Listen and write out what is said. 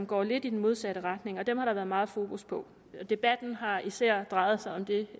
går lidt i den modsatte retning og dem har der været meget fokus på debatten har især drejet sig om det